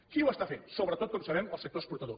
qui ho està fent sobretot com sabem el sector exportador